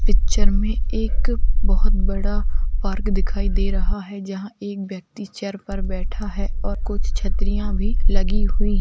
Picture मे एक बहोत बड़ा पार्क दिखाई दे रहे है। जहां एक व्यक्ति चेयर पर बैठा है और कुछ छतरियां भी लगी हुई --